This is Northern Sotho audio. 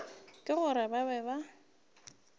ke gore ba be ba